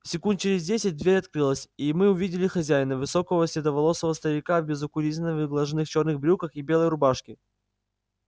секунд через десять дверь открылась и мы увидели хозяина высокого седовласого старика в безукоризненно выглаженных чёрных брюках и белой рубашке